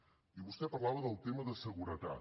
i vostè parlava del tema de seguretat